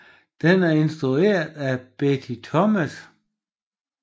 Den er instrueret af Betty Thomas